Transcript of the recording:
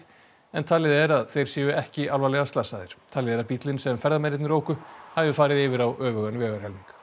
en talið er að þeir séu ekki alvarlega slasaðir talið er að bíllinn sem ferðamennirnir óku hafi farið yfir á öfugan vegarhelming